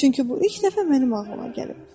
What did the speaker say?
Çünki bu ilk dəfə mənim ağlıma gəlib.